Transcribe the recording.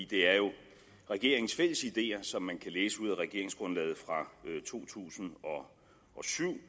det er jo regeringens fælles ideer som man kan læse ud af regeringsgrundlaget fra to tusind og syv